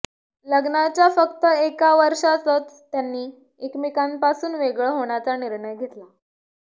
लग्नाच्या फक्त एका वर्षातच त्यांनी एकमेकांपासून वेगळं होण्याचा निर्णय घेतला